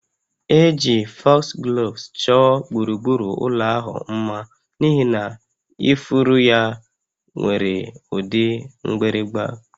Eji Foxgloves chọọ gburugburu ụlọ ahụ mma n'ihi na ifuru ya nwere ụdị mgbịrịgba